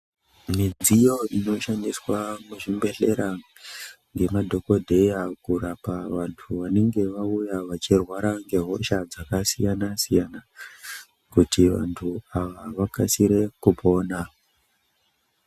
Midziyo inoshandiswa muzvibhedhlera ngemadhogodheya kurapa vantu vanenge vauya vachirwara ngehosha dzakasiyana-siyana, kuti vantu ava vakasire kupona.